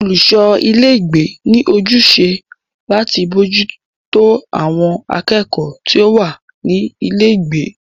Olùṣọ ilé ìgbé ní ojúṣe láti bójútó àwọn akẹ́kọ̀ọ́ tí o wá ní ilé ìgbé.